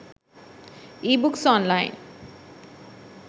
ebooks online